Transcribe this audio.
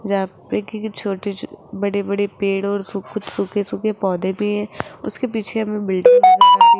जहां पे की छोटे छो बड़े बड़े पेड़ और सु कुछ सूखे सूखे पौधे भी हैं उसके पीछे हमें बिल्डिंग नजर आ रही --